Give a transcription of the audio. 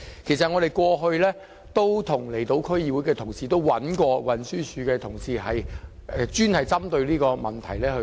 其實，我們過去曾與離島區議會的同事及運輸署人員探討這個問題。